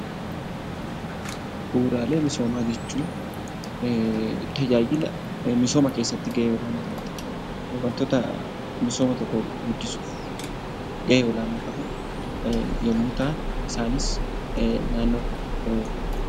Bu'uuraalee misoomaa jechuun, tajaajila misooma keessatti gahee guddaa taphatu , waantota misooma tokko guddisuuf gahee olaanaa qaban yemmuu ta'an, isaanis naannoo kunuunsuu.